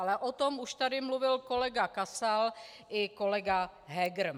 Ale o tom už tady mluvil kolega Kasal i kolega Heger.